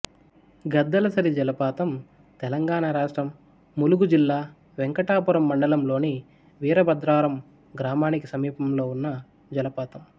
గద్దలసరి జలపాతం తెలంగాణ రాష్ట్రం ములుగు జిల్లా వెంకటాపురం మండలంలోని వీరభద్రారం గ్రామానికి సమీపంలో ఉన్న జలపాతం